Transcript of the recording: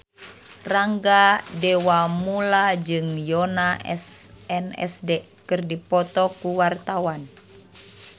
Rangga Dewamoela jeung Yoona SNSD keur dipoto ku wartawan